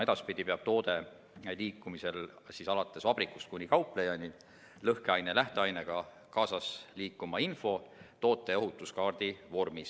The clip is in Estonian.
Edaspidi peab toote liikumisel vabrikust kauplejani lõhkeaine lähteainega liikuma kaasa info toote ohutuskaardi vormis.